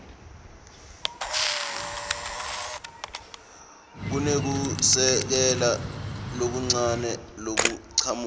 kunekusekela lokuncane lokuchamuka